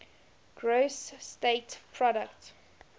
gross state product